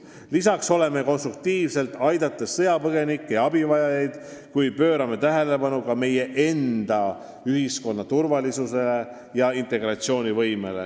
Lisaks oleme konstruktiivsed, aidates sõjapõgenikke ja abivajajaid, kuid me pöörame tähelepanu ka meie enda ühiskonna turvalisusele ja integratsioonivõimele.